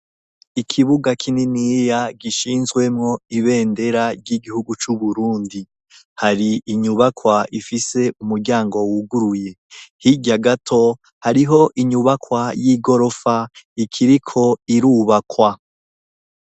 Ikibuga kininiya gishinzwemwo ibendera ry'igihugu c'uburundi hari inyubakwa ifise umuryango wuguruye hirya gato hariho inyubakwa y'igorofa ikiriko irubakwa.